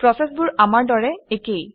প্ৰচেচবোৰ আমাৰ দৰে একেই